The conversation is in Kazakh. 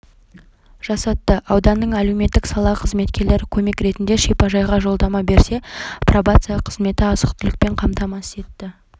жасатты ауданның әлеуметтік сала қызметкерлері көмек ретінде шипажайға жолдама берсе пробация қызметі азық-түлікпен қамтамасыз етті